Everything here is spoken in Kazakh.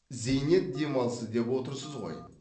зейнет демалысы деп отырсыз ғой